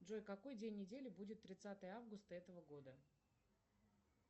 джой какой день недели будет тридцатое августа этого года